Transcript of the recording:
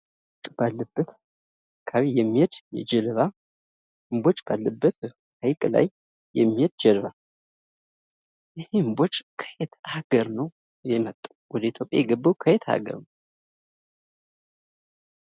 እምቦጭ ባለበት አካባቢ የሚሄድ እምቦጭ ባለበት ሀይቅ ላይ የሚሄድ ጀልባ ይህ እምቦጭ ከየት አገር ነው የመጣው ወደ ኢትዮጵያ የገባው ከየት ሀገር ነወ?